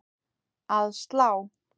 Að slá?